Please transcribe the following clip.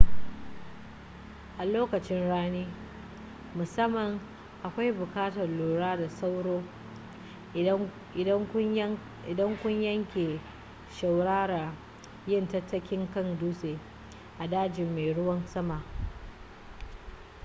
a lokacin rani musamman akwai buƙatar lura da sauro idan kun yanke shawarar yin tattakin kan dutse a dajin mai ruwan sama